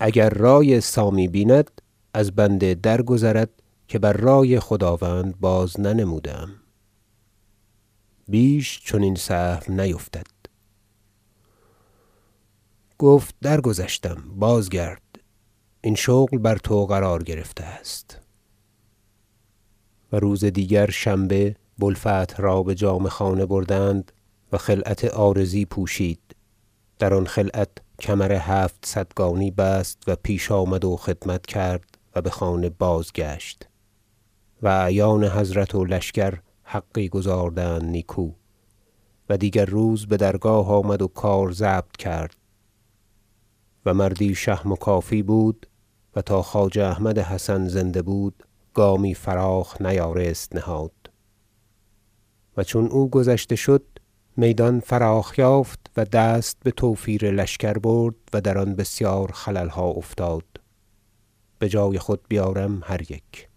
اگر رای سامی بیند از بنده درگذرد که بر رای خداوند بازننموده ام بیش چنین سهو نیفتد گفت درگذشتم بازگرد این شغل بر تو قرار گرفته است و روز دیگر شنبه بوالفتح را به جامه خانه بردند و خلعت عارضی پوشید در آن خلعت کمر هفتصدگانی بست و پیش آمد و خدمت کرد و به خانه بازگشت و اعیان حضرت و لشکر حقی گزاردند نیکو و دیگر روز به درگاه آمد و کار ضبط کرد و مردی شهم و کافی بود و تا خواجه احمد حسن زنده بود گامی فراخ نیارست نهاد و چون او گذشته شد میدان فراخ یافت و دست به توفیر لشکر برد و در آن بسیار خلل ها افتاد به جای خود بیارم هر یک